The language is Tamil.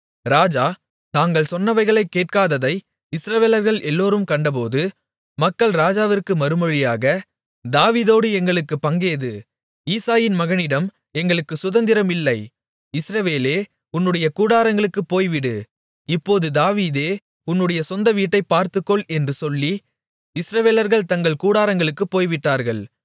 ராஜா தாங்கள் சொன்னவைகளைக் கேட்காததை இஸ்ரவேலர்கள் எல்லோரும் கண்டபோது மக்கள் ராஜாவிற்கு மறுமொழியாக தாவீதோடு எங்களுக்குப் பங்கேது ஈசாயின் மகனிடம் எங்களுக்குச் சுதந்திரம் இல்லை இஸ்ரவேலே உன்னுடைய கூடாரங்களுக்குப் போய்விடு இப்போது தாவீதே உன்னுடைய சொந்த வீட்டைப் பார்த்துக்கொள் என்று சொல்லி இஸ்ரவேலர்கள் தங்கள் கூடாரங்களுக்குப் போய்விட்டார்கள்